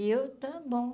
E eu, está bom.